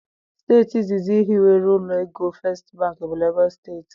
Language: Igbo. Steeti izizi hiwere ụlọ égo First bank bụ Lagos Steeti.